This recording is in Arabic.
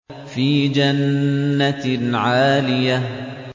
فِي جَنَّةٍ عَالِيَةٍ